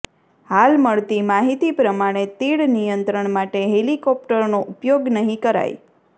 હાલ મળતી માહિતી પ્રમાણે તીડ નિયત્રંણ માટે હેલિકોપ્ટરનો ઉપયોગ નહીં કરાય